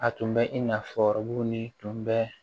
A tun bɛ i n'a fɔ ɔrɔbu ni bɛ